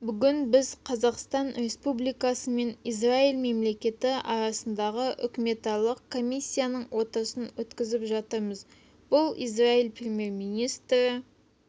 бүгін біз қазақстан республикасы мен израиль мемлекеті арасындағы үкіметаралық комиссияның отырысын өткізіп жатырмыз бұл израиль премьер-министрі